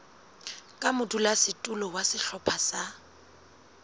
ka modulasetulo wa sehlopha sa